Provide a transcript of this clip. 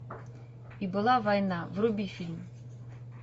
и была война вруби фильм